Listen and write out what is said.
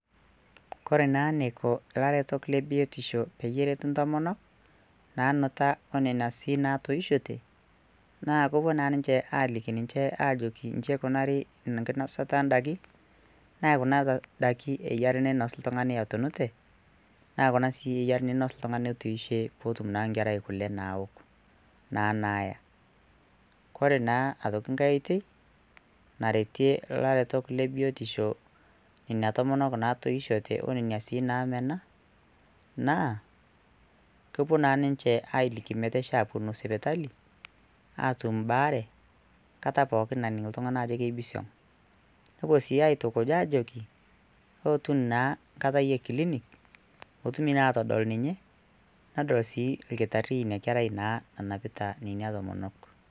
kore naa enaiko ilaretok lebiotisho peyie eretu intomonok nanuta onena sii natoishote naa kopuo naa ninche naa aliki ninche ajoki inji eikunari nkinosata andaiki naekuna daiki eyiare ninos oltung'ani etunute naa kuna sii eyiare ninos oltung'ani otiishe potum naa nkerai kule nawok naa naaya, kore naa aitoki nkae oitei naretie ilaretok lebiotisho nena tomonok natoishote onena sii namena naa kopuo naa ninche ailiki meteisho aponu sipitali atum imbaare nkata pookin naning iltung'ani ajo keibisiong nepuo sii aitukuj ajoki ootun naa nkatai yie clinic pootumi naa atodol ninye nadol sii ilkitarri inia kerai naa nanapita nenia tomonok.